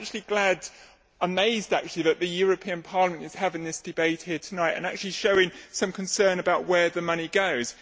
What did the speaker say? I am glad amazed actually that the European Parliament is having this debate here tonight and actually showing some concern about where the money goes.